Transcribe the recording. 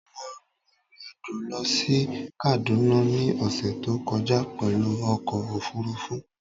Mo rin ìrìn-àjò lọ sí Kaduna ní ọ̀ṣẹ̀ tó kọjá pẹ̀lú ọkọ̀ òfurufú